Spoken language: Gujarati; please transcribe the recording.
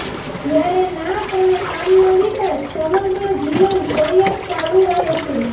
જયારે નાક અને કાનનો વિકાસ સમગ્ર જીવન પર્યંત ચાલુ રહે છે